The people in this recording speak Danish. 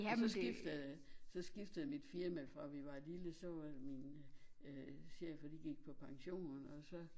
Og så skiftede så skiftede mit firma fra vi var lille så var min øh chefer de gik på pension og så